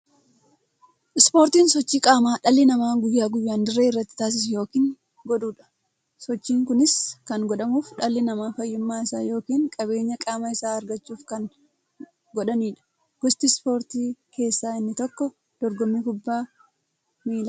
Ispoortiin sochii qaamaa dhalli namaa guyyaa guyyaan dirree irratti taasisu yookiin godhuudha. Sochiin kunis kan godhamuuf, dhalli namaa fayyummaa isaa yookiin jabeenya qaama isaa argachuuf kan godhaniidha. Gosa ispoortii keessaa inni tokko dorgommii kubbaa milaati.